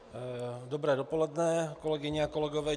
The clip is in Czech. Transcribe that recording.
Dobré dopoledne, kolegyně a kolegové.